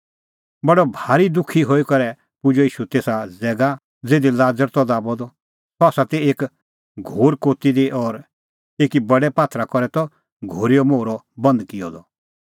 बडअ भारी दुखी हई करै पुजअ ईशू तेसा ज़ैगा ज़िधी लाज़र त दाबअ द सह ती एक घोर कोती दी और एकी बडै पात्थरा करै त घोरीओ मोहरअ बंद किअ द